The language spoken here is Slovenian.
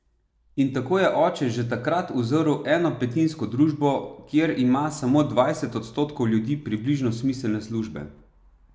In tako je oče že takrat uzrl enopetinsko družbo, kjer ima samo dvajset odstotkov ljudi približno smiselne službe ...